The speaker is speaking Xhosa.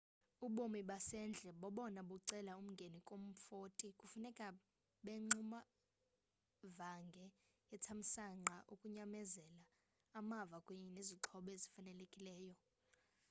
ubomi basendle bobona bucela umngeni kumfoti kufuneka abengxubevange yethamsanqa, ukunyamezela amava kunye nezixhobo ezifanelekileyo